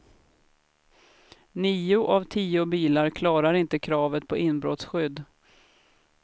Nio av tio bilar klarar inte kravet på inbrottsskydd.